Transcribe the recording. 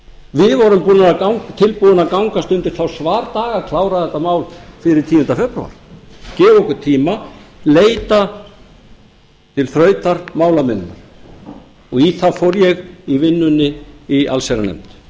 við vorum tilbúin að gangast undir þá svardaga að klára þetta mál fyrir tíunda febrúar gefa okkur tíma leita til þrautar málamiðlunar í það fór ég í vinnunni í allsherjarnefnd